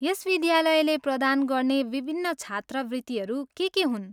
यस विद्यालयले प्रदान गर्ने विभिन्न छात्रवृत्तिहरू के के हुन्?